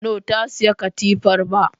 No, ta siyi katifar ba